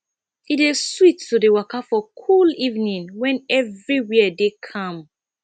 e dey sweet to dey waka for cool evening wen everywhere dey calm